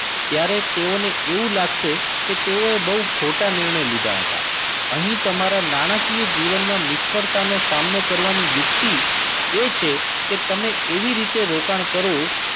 ત્યારે તેઓને એવું લાગશે કે તેઓએ બહુ ખોટા નિર્ણય લીધા હતા. અહીં તમારા નાણાકીય જીવનમાં નિષ્ફળતાનો સામનો કરવાની યુક્તિ એ છે કે તમે એવી રીતે રોકાણ કરો